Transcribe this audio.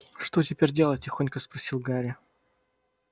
что теперь делать тихонько спросил гарри